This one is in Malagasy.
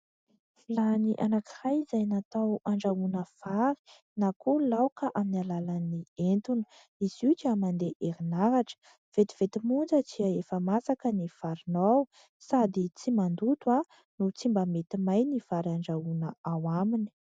Vilany anankiray izay natao andrahoana vary na koa laoka aminy alalan'ny etona, izy io dia mandeha herinaratra vetivety monja tsy efa masaka ny varinao sady tsy mandoto noho tsy mba mety may ny vary andrahoana ao aminy.